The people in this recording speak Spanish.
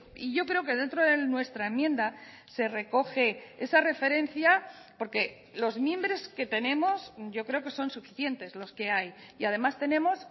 y yo creo que dentro de nuestra enmienda se recoge esa referencia porque los mimbres que tenemos yo creo que son suficientes los que hay y además tenemos